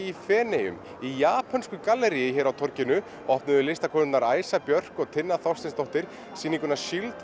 í Feneyjum í japönsku galleríi hér á torginu opnuðu listakonurnar Æsa Björk og Tinna Þorsteinsdóttir sýninguna